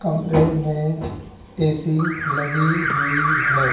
कमरे में ए_सी लगी हुई है।